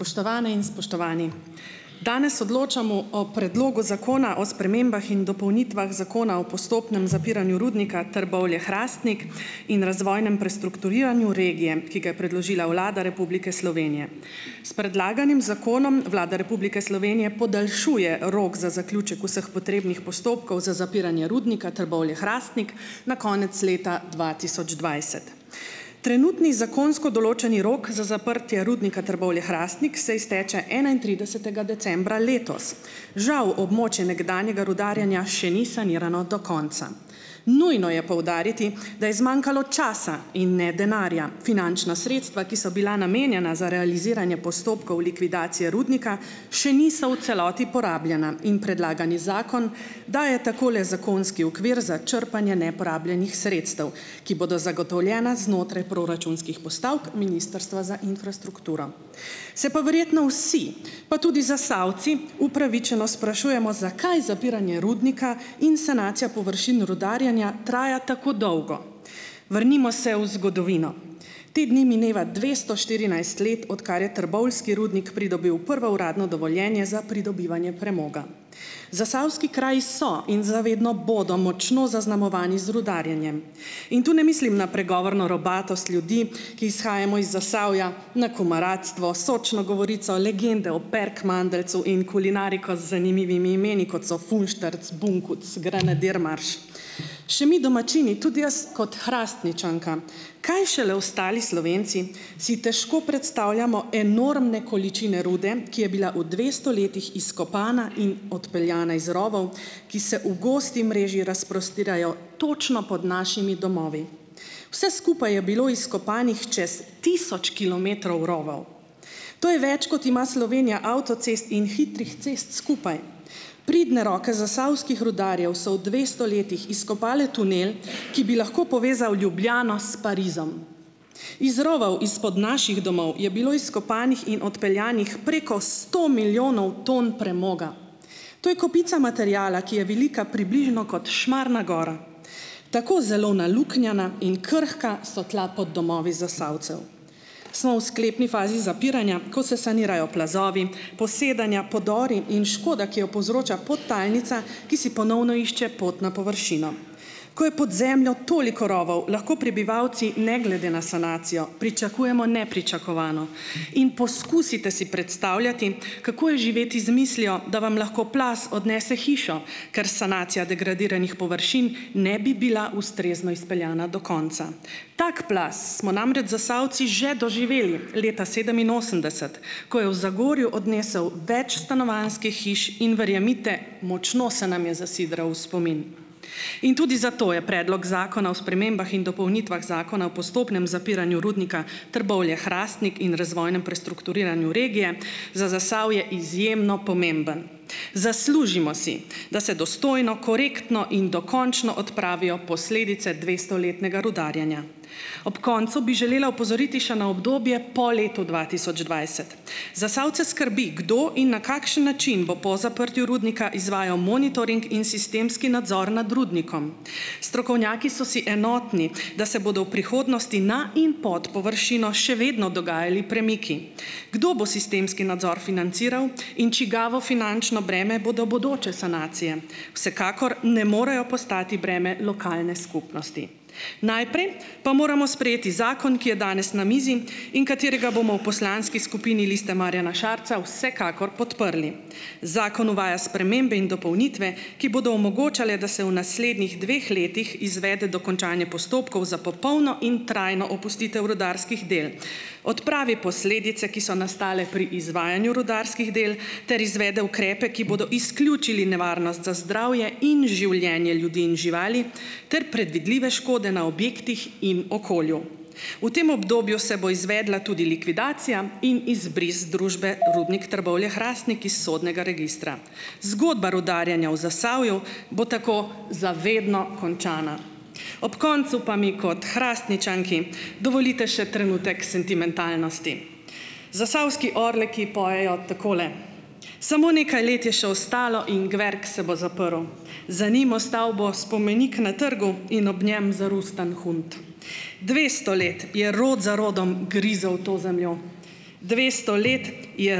Spoštovane in spoštovani! Danes odločamo o predlogu zakona o spremembah in dopolnitvah Zakona o postopnem zapiranju Rudnika Trbovlje-Hrastnik in razvojnem prestrukturiranju regije, ki ga je predložila Vlada Republike Slovenije. S predlaganim zakonom Vlada Republike Slovenije podaljšuje rok za zaključek vseh potrebnih postopkov za zapiranje Rudnika Trbovlje-Hrastnik na konec leta dva tisoč dvajset. Trenutni zakonsko določeni rok za zaprtje Rudnika Trbovlje-Hrastnik se izteče enaintridesetega decembra letos. Žal območje nekdanjega rudarjenja še ni sanirano do konca. Nujno je poudariti, da je zmanjkalo časa in ne denarja. Finančna sredstva, ki so bila namenjena za realiziranje postopkov likvidacije rudnika še niso v celoti porabljena in predlagani zakon daje tako le zakonski okvir za črpanje neporabljenih sredstev, ki bodo zagotovljena znotraj proračunskih postavk Ministrstva za infrastrukturo. Se pa verjetno vsi, pa tudi Zasavci, upravičeno sprašujemo, zakaj zapiranje rudnika in sanacija površin rudarjenja traja tako dolgo? Vrnimo se v zgodovino. Te dni mineva dvesto štirinajst let, odkar je trboveljski rudnik pridobil prvo uradno dovoljenje za pridobivanje premoga. Zasavski kraji so in za vedno bodo močno zaznamovani z rudarjenjem. In tu ne mislim na pregovorno robatost ljudi, ki izhajamo iz Zasavja, na komaratstvo, sočno govorico, legende o Perkmandeljcu in kulinariko z zanimivimi imeni, kot so fulštrc, bunkuc, granadirmarš. Še mi domačini, tudi jaz, kot Hrastničanka, kaj šele ostali Slovenci, si težko predstavljamo enormne količine rude, ki je bila v dvesto letih izkopana in odpeljana iz rovov, ki se v gosti mreži razprostirajo točno pod našimi domovi. Vse skupaj je bilo izkopanih čez tisoč kilometrov rovov. To je več, kot ima Slovenija avtocest in hitrih cest skupaj. Pridne roke zasavskih rudarjev so v dvesto letih izkopale tunel, ki bi lahko povezal Ljubljano s Parizom. Iz rovov izpod naših domov je bilo izkopanih in odpeljanih preko sto milijonov ton premoga. To je kopica materiala, ki je velika približno kot Šmarna gora. Tako zelo naluknjana in krhka so tla pod domovi Zasavcev. So v sklepni fazi zapiranja, ko se sanirajo plazovi, posedanja, podori in škoda, ki jo povzroča podtalnica, ki si ponovno išče pot na površino. Ko je pod zemljo toliko rovov, lahko prebivalci ne glede na sanacijo pričakujemo nepričakovano. In poskusite si predstavljati, kako je živeti z mislijo, da vam lahko plaz odnese hišo, ker sanacija degradiranih površin ne bi bila ustrezno izpeljana do konca. Tak plaz smo namreč Zasavci že doživeli leta sedeminosemdeset, ko je v Zagorju odnesel več stanovanjskih hiš in verjemite, močno se nam je zasidral v spomin. In tudi zato je predlog zakona o spremembah in dopolnitvah Zakona o postopnem zapiranju Rudnika Trbovlje-Hrastnik in razvojnem prestrukturiranju regije za Zasavje izjemno pomemben. Zaslužimo si, da se dostojno, korektno in dokončno odpravijo posledice dvestoletnega rudarjenja. Ob koncu bi želela opozoriti še na obdobje po letu dva tisoč dvajset. Zasavce skrbi, kdo in na kakšen način bo po zaprtju Rudnika izvajal monitoring in sistemski nadzor nad rudnikom. Strokovnjaki so si enotni, da se bodo v prihodnosti na in pod površino še vedno dogajali premiki. Kdo bo sistemski nadzor financiral in čigavo finančno breme bodo bodoče sanacije? Vsekakor ne morejo postati breme lokalne skupnosti. Najprej pa moramo sprejeti zakon, ki je danes na mizi in katerega bomo v poslanski skupini Liste Marjana Šarca vsekakor podprli. Zakon uvaja spremembe in dopolnitve, ki bodo omogočale, da se v naslednjih dveh letih izvede dokončanje postopkov za popolno in trajno opustitev rudarskih del, odpravi posledice, ki so nastale pri izvajanju rudarskih del, ter izvede ukrepe, ki bodo izključili nevarnost za zdravje in življenje ljudi in živali ter predvidljive škode na objektih in okolju. V tem obdobju se bo izvedla tudi likvidacija in izbris družbe Rudnik Trbovlje-Hrastnik iz sodnega registra. Zgodba rudarjenja v Zasavju bo tako za vedno končana. Ob koncu pa mi kot Hrastničanki dovolite še trenutek sentimentalnosti. Zasavski Orleki pojejo takole: "Samo nekaj let je še ostalo, in gverk se bo zaprl, za njim ostal bo spomenik na trgu in ob njem zarustan hunt ... Dvesto let je rod za rodom grizel v to zemljo, dvesto let je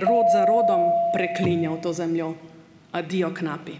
rod za rodom preklinjal to zemljo." Adijo, knapi!